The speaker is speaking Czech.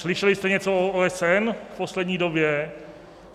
Slyšeli jste něco o OSN v poslední době?